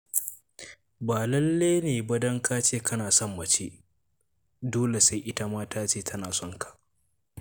Ba lalle ne ba don ka ce kana son mace dole sai ita ma ta ce tana son ka.